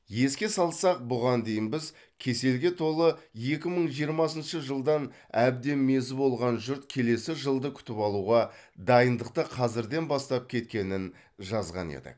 еске салсақ бұған дейін біз кеселге толы екі мың жиырмасыншы жылдан әбден мезі болған жұрт келесі жылды күтіп алуға дайындықты қазірден бастап кеткенін жазған едік